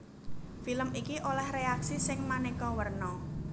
Film iki olèh réaksi sing manéka werna